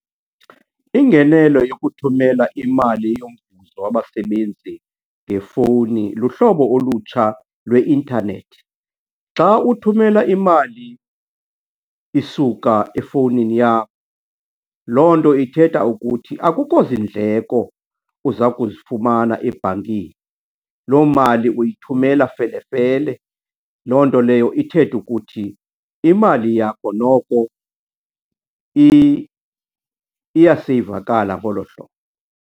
Ingenelo yokuthumela imali wabasebenzi ngefowuni luhlobo olutsha lweintanethi. Xa uthumela imali isuka efowunini yam, loo nto ithetha ukuthi akukho zindleko uza kuzifumana ebhankini. Loo mali uyithumela felefele, loo nto leyo ithethe ukuthi imali yakho noko iyaseyivakala ngolo hlobo.